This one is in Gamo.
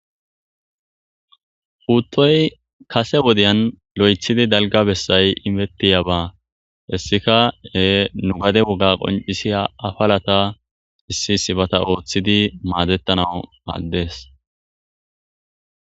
Puttoyi kasse wodiya kehi daligga bessayi imetiyabba hessika e gade wogga qonicisiya afalata issiba othidi madetanawu madesi